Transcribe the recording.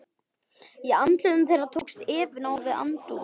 Í andlitum þeirra tókst efinn á við aðdáunina.